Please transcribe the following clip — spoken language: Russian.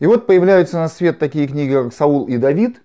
и вот появляются на свет такие книги как саул и давид